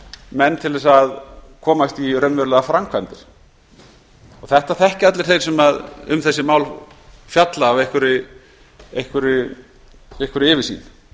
menn til að komast í raunverulegar framkvæmdir og þetta þekkja allir þeir sem um þessi mál fjalla af einhverri yfirsýn